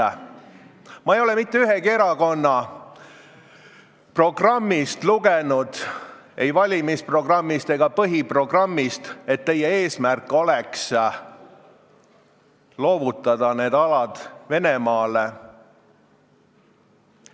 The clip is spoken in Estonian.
Ma ei ole lugenud mitte ühegi erakonna programmist, ei valimisprogrammist ega põhiprogrammist, et teie eesmärk oleks loovutada need alad Venemaale.